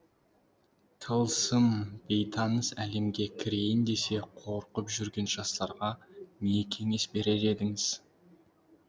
тылсым бейтаныс әлемге кірейін десе қорқып жүрген жастарға не кеңес берер едіңіз